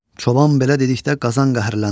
Çoban belə dedikdə Qazan qəhrləndi.